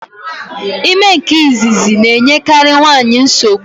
Ime nke izizi na-enyekari nwaanyị nsogbu.